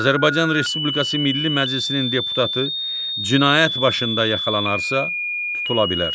Azərbaycan Respublikası Milli Məclisinin deputatı cinayət başında yaxalanarsa, tutula bilər.